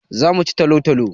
Za mu ci talo-talo.